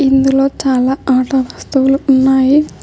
ఇందులో చాలా ఆట వస్తువులు ఉన్నాయి.